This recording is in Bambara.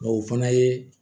o fana ye